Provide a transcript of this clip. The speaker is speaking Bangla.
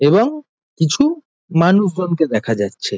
এবং কিছু মানুষজনকে দেখা যাচ্ছে।